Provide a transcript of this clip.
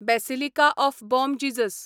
basilica of Bom Jesus